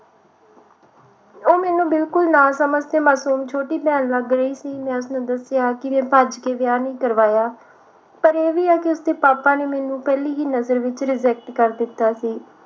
ਉਹ ਮੈਨੂੰ ਬਿਲਕੁਲ ਨਾ ਸਮਝ ਤੇ ਮਾਸੂਮ ਛੋਟੀ ਭੈਣ ਲੱਗ ਰਹੀ ਸੀ ਮੈਂ ਉਸਨੂੰ ਦੱਸਿਆ ਕਿ ਮੈਂ ਭੱਜ ਕੇ ਵਿਆਹ ਨਹੀਂ ਕਰਵਾਇਆ ਪਰ ਉਹ ਵੀ ਆ ਕਿ ਉਸਦੇ ਪਾਪਾ ਨੇ ਮੈਨੂੰ ਪਹਿਲੀ ਹੀ ਨਜ਼ਰ ਵਿਚ reject ਕਰ ਦਿੱਤਾ ਸੀ